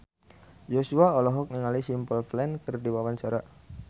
Joshua olohok ningali Simple Plan keur diwawancara